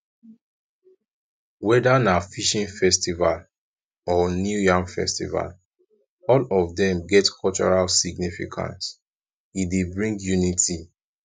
weda na fishing festival or new yam festival all of dem get cultural significance e dey bring unity